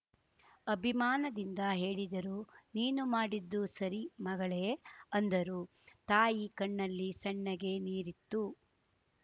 ಅಬಿಮಾನದಿಂದ ಹೇಳಿದರು ನೀನು ಮಾಡಿದ್ದು ಸರಿ ಮಗಳೇ ಅಂದರು ತಾಯಿ ಕಣ್ಣಲ್ಲಿ ಸಣ್ಣಗೆ ನೀರಿತ್ತು